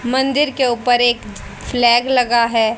मंदिर के ऊपर एक फ्लैग लगा है।